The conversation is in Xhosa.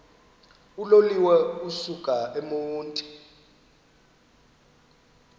uloliwe ukusuk emontini